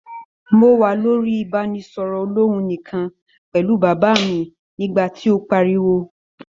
Mo wà lórí ibanisọrọ olòhùn nikan pẹlu bàbá mi nígbà tí o páríwó.